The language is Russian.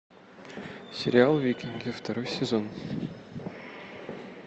сериал викинги второй сезон